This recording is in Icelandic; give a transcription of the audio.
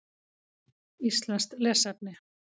Íslenskt lesefni: